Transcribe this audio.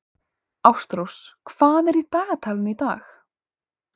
Ástrós, hvað er í dagatalinu í dag?